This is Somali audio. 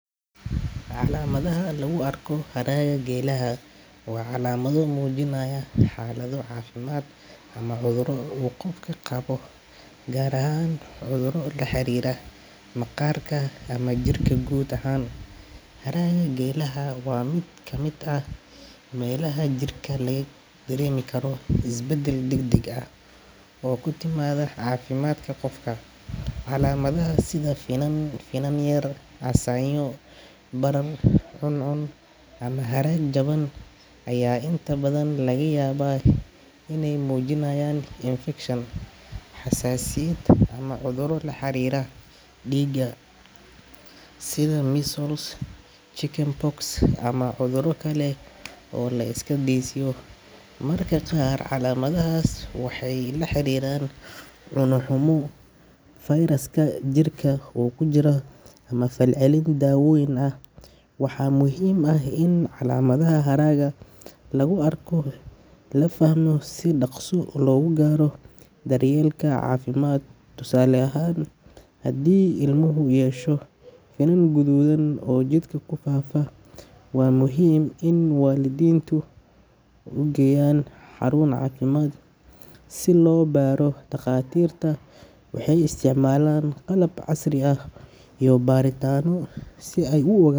Calamadaha laguarko haaraga gelaha wa calamado mujinaya xalado cafimad ama cuduro uu gofka qawo, gaar ahan cuduro laharira magarka ama jirka lahariro, haaraga gelaha wa kamid ah melaha jirka lagadaremikaro isbadal dagdag ah, oo kutimada cafimadka gofka, calamadahas sida finan yar ama barar cuncun aya inta badan lagayawaa inay mujinayan infection hasasiyad ama cudura laharira digaa sidha measles, chicken box, ama cuduro kale marka gaar calamadas waxa lahariran cuno xumo jirka kujira ama falcelin dawoyin ah, waxa muxiim ah in calamadaha haaraga laguarko lafahmo si dagso logugaro, daryelka cafimadka hadhi ilmu yeshaan mela madoben oo jirka kufaafa wa muxiim in walidintuugeyaan harun cafimad si lobaro dagatirta waxay isticmalan qalab casri ah iyo baritano si ay uogadan.